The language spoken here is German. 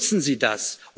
Nutzen Sie das!